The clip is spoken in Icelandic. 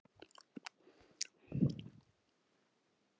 Það var mikið afrek.